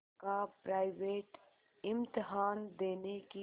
का प्राइवेट इम्तहान देने की